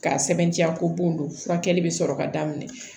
K'a sɛbɛntiya ko bon don furakɛli bɛ sɔrɔ ka daminɛ